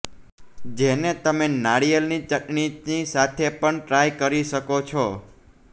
જેને તમે નારિયેળની ચટણીની સાથે પણ ટ્રાય કરી શકો છો